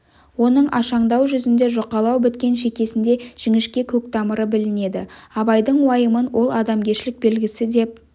оның ашаңдау жүзінде жұқалау біткен шекесінде жіңішке көк тамыры білінеді абайдың уайымын ол адамгершілік белгісі деп